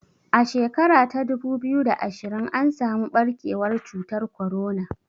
A shekara ta dubu biyu da ashirin an samu ɓarkewar cutar korona